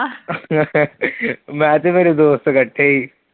ਮੈਂ ਤੇ ਮੇਰੇ ਦੋਸਤ ਇਕੱਠੇ ਸੀ।